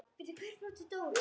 Ég vissi það líka.